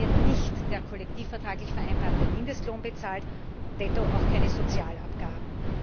Es wird nicht der kollektivvertraglich vereinbarte Mindestlohn bezahlt, detto auch keine Sozialabgaben.